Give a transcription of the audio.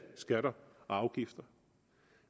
skatter og afgifter